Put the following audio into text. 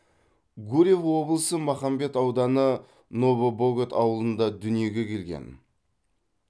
гурьев облысы махамбет ауданы новобогат ауылында дүниеге келген